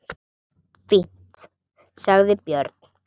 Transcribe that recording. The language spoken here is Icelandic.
Fínt, sagði Björn.